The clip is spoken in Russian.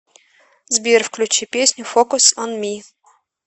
сбер включи песню фокус он ми